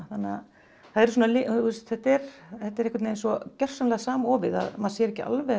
þetta er þetta er einhvern veginn svo gjörsamlega samofið að maður sér ekki alveg